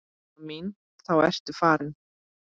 Amma mín þá ertu farin.